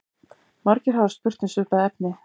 Margir hafa spurt um svipað efni.